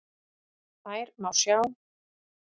Þær má sjá